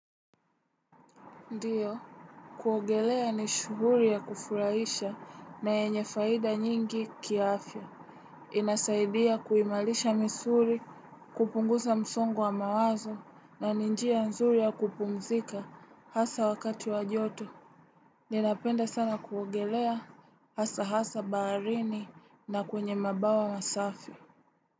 Ndiyo, kuogelea ni shughuli ya kufuraisha na yenye faida nyingi kiafya. Inasaidia kuimarisha misuli, kupunguza msongo wa mawazo na ni njia nzuri ya kupumzika hasa wakati wa joto. Ninapenda sana kuogelea hasa hasa baharini na kwenye mabawa masafi.